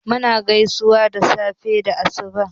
Mu na gaisuwan safe da asuba